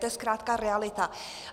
To je zkrátka realita.